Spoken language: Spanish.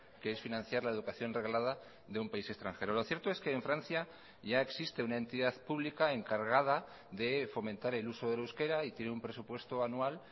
que es financiar la educación reglada de un país extranjero lo cierto es que en francia ya existe una entidad pública encargada de fomentar el uso del euskera y tiene un presupuesto anual